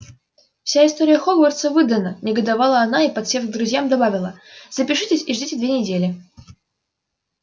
вся история хогвартса выдана негодовала она и подсев к друзьям добавила запишитесь и ждите две недели